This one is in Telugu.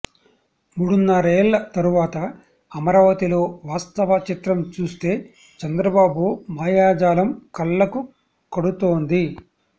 మూడున్నరేళ్ల తరువాత అమరావతిలో వాస్తవ చిత్రం చూస్తే చంద్రబాబు మాయాజాలం కళ్లకు కడుతోంది